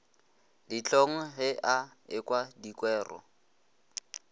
dihlong ge a ekwa dikwero